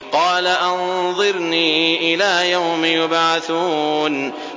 قَالَ أَنظِرْنِي إِلَىٰ يَوْمِ يُبْعَثُونَ